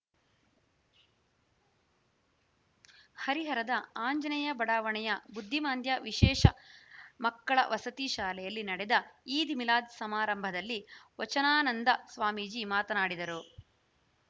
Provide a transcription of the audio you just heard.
ಹರಿಹರದ ಆಂಜನೇಯ ಬಡಾವಣೆಯ ಬುದ್ಧಿಮಾಂದ್ಯ ವಿಶೇಷ ಮಕ್ಕಳ ವಸತಿ ಶಾಲೆಯಲ್ಲಿ ನಡೆದ ಈದ್‌ಮಿಲಾದ್‌ ಸಮಾರಂಭದಲ್ಲಿ ವಚನಾನಂದ ಸ್ವಾಮೀಜಿ ಮಾತನಾಡಿದರು